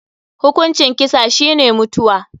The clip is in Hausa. Hukuncin kisa shi ne mutuwa.